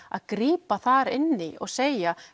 að grípa þar inn í og segja